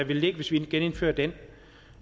vil ligge hvis vi genindfører den